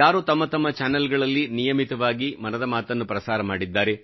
ಯಾರು ತಮ್ಮತಮ್ಮ ಚಾನಲ್ಗಳಲ್ಲಿ ನಿಯಮಿತವಾಗಿ ಮನದ ಮಾತನ್ನು ಪ್ರಸಾರ ಮಾಡಿದ್ದಾರೆ